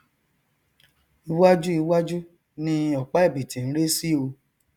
iwáju iwájú ni ọpá ẹbìtì n ré sí o